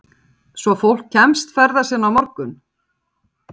Hrund: Svo fólk kemst ferða sinna á morgun?